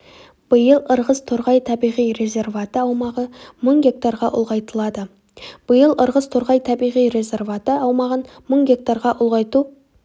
биыл ырғыз-торғай табиғи резерваты аумағы мың гектарға ұлғайтылады биыл ырғыз-торғай табиғи резерваты аумағын мың гектарға ұлғайту